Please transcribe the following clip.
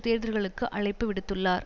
தேர்தல்களுக்கு அழைப்பு விடுத்துள்ளார்